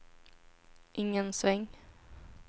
ingen sväng